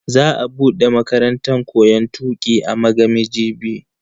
Za a bude makarantan koyon tuki a Magami jibi.